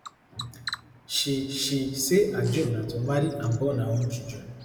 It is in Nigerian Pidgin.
she she say her dream na to marry and born her own children